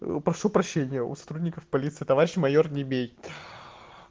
прошу прощения у сотрудников полиции товарищ майор не бей